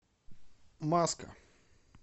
маска